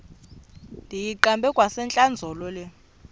ndiyiqande kwasentlandlolo le